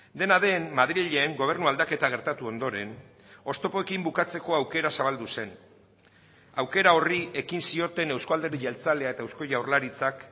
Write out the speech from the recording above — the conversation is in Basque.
dena den madrilen gobernu aldaketa gertatu ondoren oztopoekin bukatzeko aukera zabaldu zen aukera horri ekin zioten euzko alderdi jeltzalea eta eusko jaurlaritzak